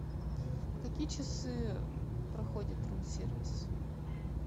в какие часы проходит рум сервис